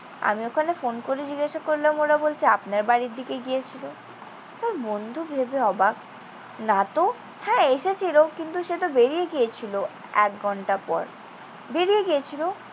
আমি ওখানে ফোন করে জিজ্ঞাসা করলাম, ওরা বলছে আপনার বাড়ির দিকে গিয়েছিল? তার বন্ধু ভেবে অবাক। না তো। হ্যাঁ, এসেছিল। কিন্তু সে তো বেরিয়ে গিয়েছিল এক ঘণ্টা পর। বেরিয়ে গিয়েছিল?